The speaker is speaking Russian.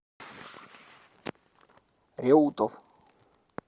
реутов